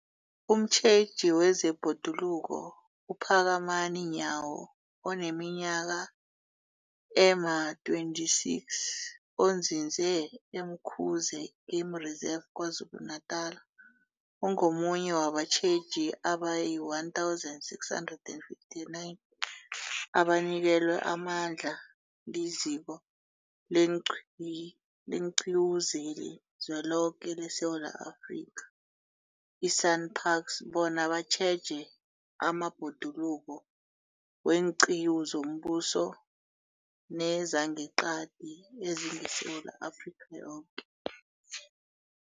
Umtjheji wezeBhoduluko uPhakamani Nyawo oneminyaka ema-26, onzinze e-Umkhuze Game Reserve KwaZulu-Natala, ungomunye wabatjheji abayi-1 659 abanikelwe amandla liZiko leenQiwu zeliZweloke leSewula Afrika, i-SANParks, bona batjheje amabhoduluko weenqiwu zombuso nezangeqadi ezingeSewula Afrika yoke.